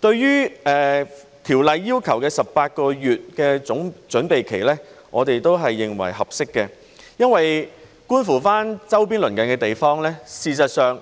對於法案要求的18個月準備期，我們認為是合適的，因為觀乎周邊鄰近的地方，事實上，